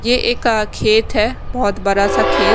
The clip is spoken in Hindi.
यह एक अह खेत है बहुत बड़ा सा खेत।